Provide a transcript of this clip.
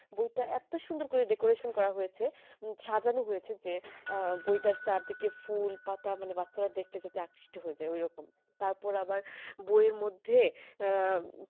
বই তা এতো সুন্দর করে decoration করা হয়েছে সাজানো হয়েছে যে বইটার চারদিকে ফুল পাতা মানে বাচ্চারা দেখতে যাতে আকৃষ্ট হয়ে যায় ওই রকম তার পর আবার বয়ের মধ্যে আহ